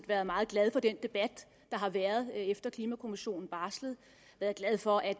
været meget glad for den debat der har været efter at klimakommissionen barslede jeg er glad for at